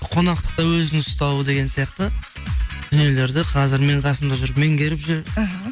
қонақтықта өзін ұстау деген сияқты дүниелерді қазір менің қасымда жүріп меңгеріп жүр іхі